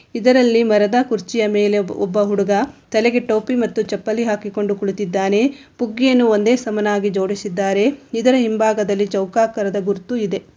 ಇದ್ರಲ್ಲಿ ಮರದ ಕುರ್ಚಿಯ ಮೇಲೆ ಒಬ್ಬ ಹುಡುಗ ತಲೆಗೆ ಟೋಪಿ ಮತ್ತು ಚಪ್ಪಲಿ ಹಾಕಿಕೊಂಡು ಕುಳಿತ್ತಿದ್ದಾನೆ. ಪುಗ್ಗಿಯನ್ನು ಒಂದೇ ಸಮಾನಾಗಿ ಜೋಡಿಸಿದ್ದಾರೆ. ಇದರ ಹಿಂಭಾಗದಲ್ಲಿ ಚೌಖಕಾರದ ಗುರುತು ಇದೆ.